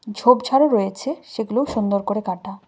ঝোপঝাড়ও রয়েছে সেগুলো সুন্দর করে কাটা।